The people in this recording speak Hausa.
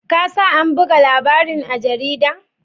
Ka sa an buga labarin a jarida?